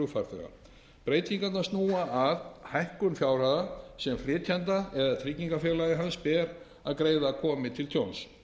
flugfarþega breytingarnar snúa að hækkun fjárhæða sem flytjanda eða tryggingafélagi hans ber að greiða komi til tjóns